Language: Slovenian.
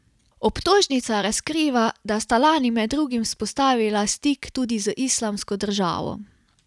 Obtožnica razkriva, da sta lani med drugim vzpostavila stik tudi z Islamsko državo.